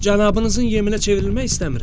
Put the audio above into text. Cənabınızın yeminə çevrilmək istəmirəm.